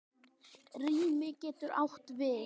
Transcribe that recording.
Rými getur átt við